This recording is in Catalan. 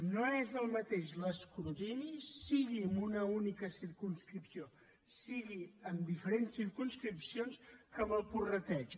no és el mateix l’escrutini sigui amb una única circumscripció sigui amb diferents circumscripcions que amb el prorrateig